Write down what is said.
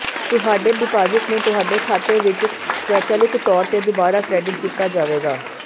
ਤੁਹਾਡੇ ਡਿਪਾਜ਼ਿਟ ਨੂੰ ਤੁਹਾਡੇ ਖਾਤੇ ਵਿੱਚ ਸਵੈਚਲਿਤ ਤੌਰ ਤੇ ਦੁਬਾਰਾ ਕ੍ਰੈਡਿਟ ਕੀਤਾ ਜਾਵੇਗਾ